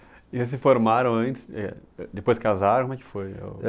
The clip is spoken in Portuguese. E vocês formaram antes, eh, depois casaram, como é que foi?